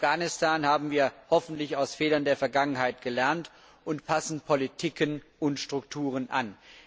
In Afghanistan haben wir hoffentlich aus den Fehlern der Vergangenheit gelernt und passen Politiken und Strukturen an.